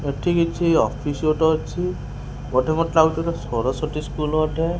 ଏଠି କିଛି ଅଫିସ୍ ଗୋଟେ ଅଛି ବୋଧେ ମୋତେ ଲାଗୁଚି ଏଟା ସରସ୍ଵତୀ ସ୍କୁଲ୍ ।